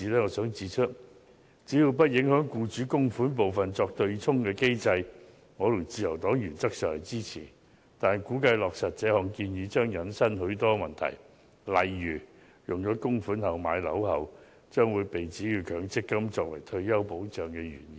我想指出只要不影響以僱主供款部分作對沖的機制，我和自由黨原則上會支持，但估計在落實這項建議時將引申出許多問題，例如把供款用作買樓，會被指有違強積金作為退休保障的原意。